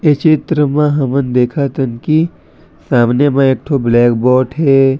ये चित्र मा हमन देखत हन की सामने म एक ठो ब्लैकबोर्ड हे।